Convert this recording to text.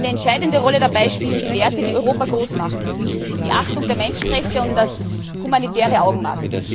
Eine entscheidende Rolle dabei spielen die Werte, die Europa groß machen die Achtung der Menschenrechte und das humanitäre Augenmaß.